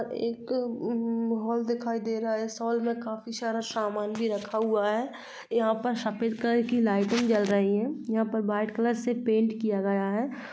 एक अम्म हॉल दिखाई दे रहा है। इस हॉल में काफी शारा शामान भी रखा हुआ है। यहाँ पर सफ़ेद कलर की लाइटिंग जल रही हैं। यहाँ पर वाइट कलर से पेंट किया गया है।